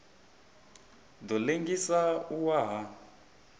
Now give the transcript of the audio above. ḓo ḽengisa u wa ha